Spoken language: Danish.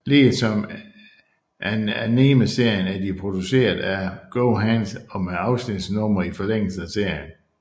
Ligesom animeserien er de produceret af GoHands og med afsnitsnumre i forlængelse af serien